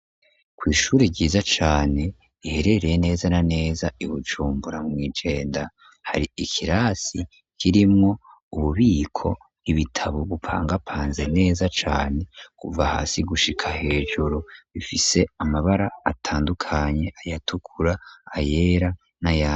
kw'ishure ryiza cane, iherereye neza na neza i Bujumbura mw'i Jenda, hari ikirasi kirimwo ububiko, ibitabo bipangapanze neza cane kuva hasi gushika hejuru, bifise amabara atandukanye: ayatukura, ayera n'ayandi.